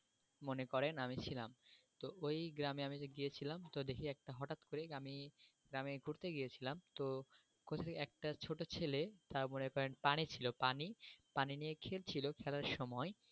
মনে করেন আমি ছিলাম তো ওই গ্রামে আমি যে গিয়েছিলাম তো দেখি একটা হঠাৎ করে আমি গ্রামি ঘুরতে গিয়েছিলাম তো হচ্ছে একটা ছোটো ছেলে পানি ছিল পানি, পানি নিয়ে খেলছিলো খেলার সময়ে,